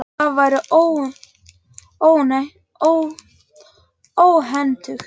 En það væri óhentugt.